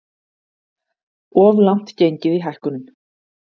Of langt gengið í hækkunum